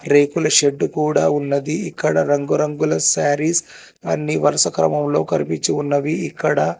రేకులు షెడ్డు కూడా ఉన్నది ఇక్కడ రంగురంగుల శారీస్ అన్ని వరుస క్రమంలో కరిపిచ్చి ఉన్నవి ఇక్కడ.